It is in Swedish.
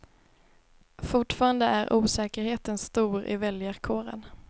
Fortfarande är osäkerheten stor i väljarkåren.